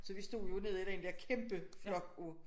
Så vi stod jo nede i den dér kæmpe flok af